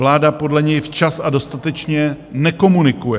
Vláda podle něj včas a dostatečně nekomunikuje.